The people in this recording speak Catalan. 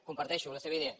comparteixo la seva idea